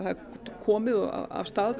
komið af stað